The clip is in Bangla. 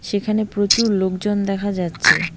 সেখানে প্রচুর লোকজন দেখা যাচ্ছে।